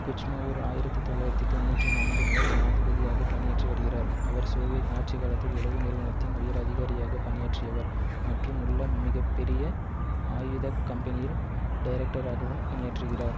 Kuchma ஓர் ஆயிரத்தி தொள்ளாயிரத்தி தொன்னூற்றி நான்கு முதல் ஜனாதிபதியாக பணியாற்றி வருகிறார் அவர் சோவியத் ஆட்சி காலத்தில் உளவு நிறுவனத்தின் உயர் அதிகாரியாக பணியாற்றியவர் மற்றும் உள்ள மிக பெரிய ஆயுத கம்பெனியில் டைரக்டராகவும் பணியாற்றிகிறார்